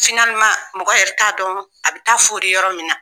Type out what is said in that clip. mɔgɔ yɛrɛ t'a dɔn a bɛ taa fori yɔrɔ min na